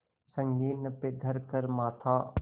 संगीन पे धर कर माथा